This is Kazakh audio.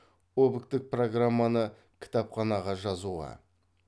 объктік программаны кітапханаға жазуға